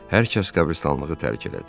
Hər kəs qəbristanlığı tərk elədi.